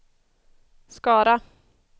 Skara